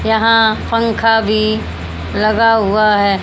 यहां पंखा भी लगा हुआ है।